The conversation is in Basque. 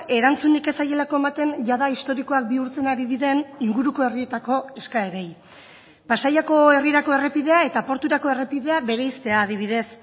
erantzunik ez zaielako ematen jada historikoak bihurtzen ari diren inguruko herrietako eskaerei pasaiako herrirako errepidea eta porturako errepidea bereiztea adibidez